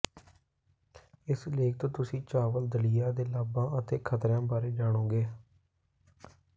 ਇਸ ਲੇਖ ਤੋਂ ਤੁਸੀਂ ਚਾਵਲ ਦਲੀਆ ਦੇ ਲਾਭਾਂ ਅਤੇ ਖਤਰਿਆਂ ਬਾਰੇ ਜਾਣੋਗੇ